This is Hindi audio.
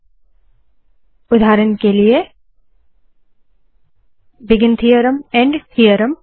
ठीक है उदाहरण के लिए बिगिन थीअरम एंड थीअरम